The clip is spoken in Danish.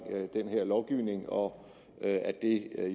den her lovgivning og at det er